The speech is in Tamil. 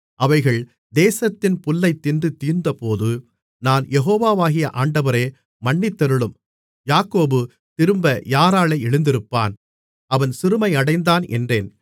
அவைகள் தேசத்தின் புல்லைத் தின்று தீர்ந்தபோது நான் யெகோவாகிய ஆண்டவரே மன்னித்தருளும் யாக்கோபு திரும்ப யாராலே எழுந்திருப்பான் அவன் சிறுமையடைந்தான் என்றேன்